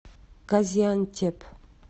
газиантеп